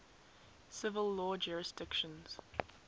civil law jurisdictions